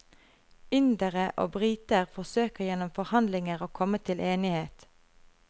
Indere og briter forsøker gjennom forhandlinger å komme til enighet.